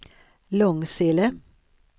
Långsele